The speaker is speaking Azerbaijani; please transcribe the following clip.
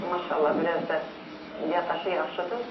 Maşallah, biraz da yaddaşı yaxşıdır.